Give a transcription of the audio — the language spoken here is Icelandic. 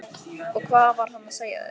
Og hvað var hann að segja þér?